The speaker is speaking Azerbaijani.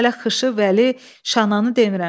Mən hələ xışı, vəli, şananı demirəm.